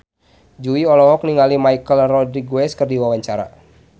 Jui olohok ningali Michelle Rodriguez keur diwawancara